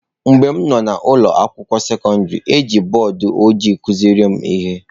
Mgbe m nọ n’ụlọ akwụkwọ sekọndrị, e ji bọọdụ ojii kụziere m ihe.